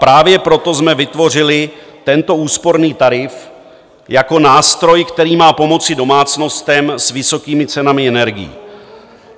Právě proto jsme vytvořili tento úsporný tarif jako nástroj, který má pomoci domácnostem s vysokými cenami energií.